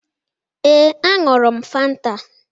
Ee, aṅụrụ m Fanta.